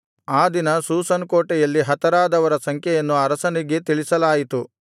ಆ ದಿನ ಶೂಷನ್ ಕೋಟೆಯಲ್ಲಿ ಹತರಾದವರ ಸಂಖ್ಯೆಯನ್ನು ಅರಸನಿಗೆ ತಿಳಿಸಲಾಯಿತು